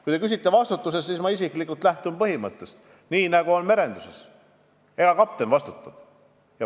Kui te küsite vastutuse kohta, siis ma isiklikult lähtun samast põhimõttest, mis on merenduses: kapten vastutab.